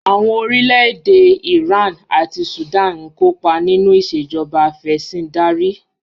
Àwọn orílẹ̀ èdè yìí: Iran àti Sudan ń kọ́pa nínú ìṣẹ̀jọba afẹ̀sìndarí.